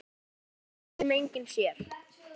Stúlkan sem enginn sér.